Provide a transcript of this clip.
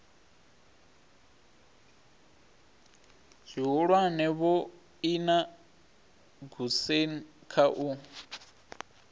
zwihulwane vhoina goosen kha u